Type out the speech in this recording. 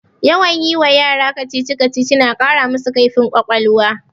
Yawan yi wa yara kacici-kacici na ƙara masu kaifin ƙwaƙwalwa